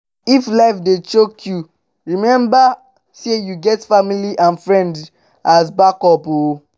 if life dey dey choke you remmba sey yu get family and friends as backup o